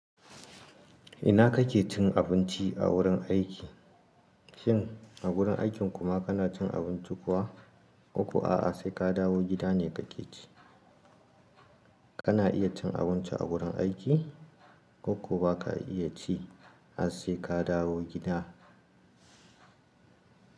Ina kake cin abinci a wurin aiki? Shin a wurin aikin kuma kana cin abinci kuwa? Ko kuwa aa sai ka dawo gida ne kake ci? Kana iya cin abinci a wurin aiki ko kuwa ba ka iya ci a sai ka dawo gida.